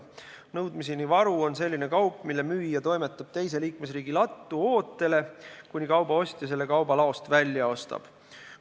Nõudmiseni varu on selline kaup, mille müüja toimetab teise liikmesriigi lattu ootele, kuni ostja selle kauba laost välja ostab.